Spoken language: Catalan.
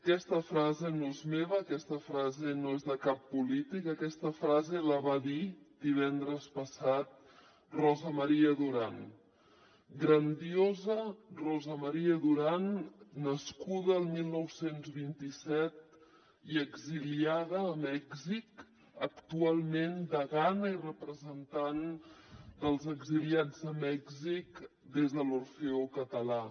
aquesta frase no és meva aquesta frase no és de cap polític aquesta frase la va dir divendres passat rosa maria duran grandiosa rosa maria duran nascuda el dinou vint set i exiliada a mèxic actualment degana i representant dels exiliats de mèxic des de l’orfeó català